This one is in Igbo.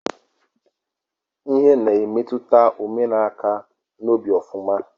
Ịhe na-emetụta omenkà n'obi ọfụma